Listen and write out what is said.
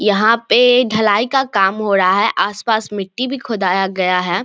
यहां पे ढलाई का काम हो रहा है आस-पास मिट्टी भी खुदाया गया है।